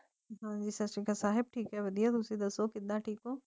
ਹਨ ਜੀ ਸਾਸਰੀ ਕਾਲ ਸਾਹੇਬ ਥੇਕ ਆਯ ਵਾਦੇਯਾ ਤੁਸੀਂ ਦਾਸੁ ਥੇਕ ਹੋ